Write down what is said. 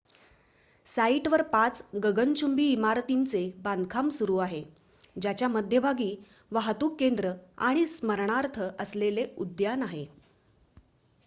साइटवर पाच गगनचुंबी इमारतींचे बांधकाम सुरू आहे ज्याच्या मध्यभागी वाहतूक केंद्र आणि स्मरणार्थ असलेले उद्यान आहे